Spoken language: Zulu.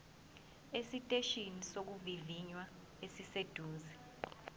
esiteshini sokuvivinya esiseduze